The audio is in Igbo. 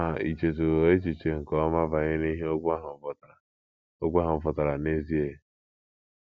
Ma ì chetụwo echiche nke ọma banyere ihe okwu ahụ pụtara okwu ahụ pụtara n’ezie?